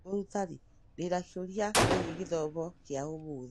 Mũrutani, ndĩ na kĩũria kĩgiĩ gĩthomo kĩa ũmũthĩ